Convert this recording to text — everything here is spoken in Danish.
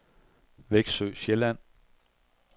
Veksø Sjælland